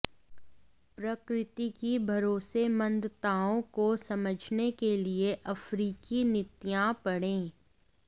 प्रकृति की भरोसेमंदताओं को समझने के लिए अफ्रीकी नीतियां पढ़ें